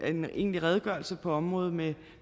en egentlig redegørelse på området med